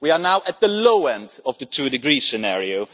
We are now at the low end of the two degree scenario.